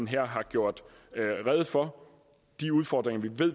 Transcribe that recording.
her har gjort rede for de udfordringer